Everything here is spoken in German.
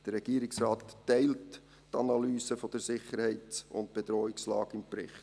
Der Regierungsrat teil die Analyse der Sicherheits- und Bedrohungslage im Bericht.